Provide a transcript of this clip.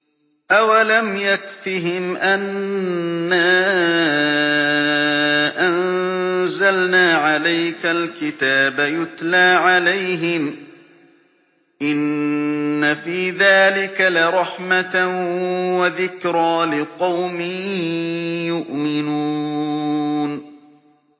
أَوَلَمْ يَكْفِهِمْ أَنَّا أَنزَلْنَا عَلَيْكَ الْكِتَابَ يُتْلَىٰ عَلَيْهِمْ ۚ إِنَّ فِي ذَٰلِكَ لَرَحْمَةً وَذِكْرَىٰ لِقَوْمٍ يُؤْمِنُونَ